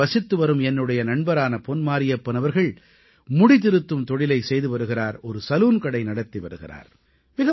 இங்கே வசித்துவரும் என்னுடைய நண்பரான பொன் மாரியப்பன் அவர்கள் முடிதிருத்தும் தொழிலைச் செய்து வருகிறார் ஒரு சலூன்கடை நடத்தி வருகிறார்